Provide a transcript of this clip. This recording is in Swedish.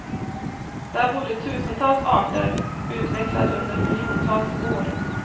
Där bodde tusentals arter, utvecklade under miljontals år.